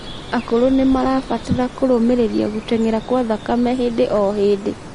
akũrũ nimarabatara kurumirirĩa guteng'era kwa thakame hĩndĩ o hĩndĩ